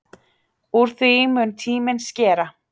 Úr því mun tíminn skera.